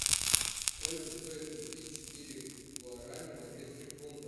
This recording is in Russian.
сколько стоит купить четыре гуарани в английских фунтах